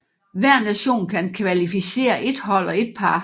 Hver nation kan kvalificere ét hold og ét par